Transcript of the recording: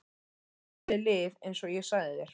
Það verður valið lið eins og ég sagði þér.